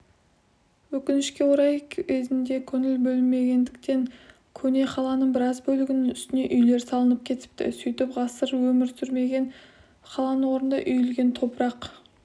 өкінішке орай кезінде көңіл бөлінбегендіктен көне қаланың біраз бөлігінің үстіне үйлер салынып кетіпті сөйтіп ғасыр өмір сүрген қаланың орнында үйілген топырақ